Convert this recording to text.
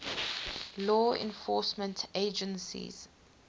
law enforcement agencies